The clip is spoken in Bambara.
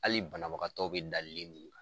Hali banabagatɔw bɛ da munnu .